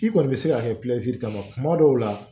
I kɔni bɛ se ka kɛ kuma dɔw la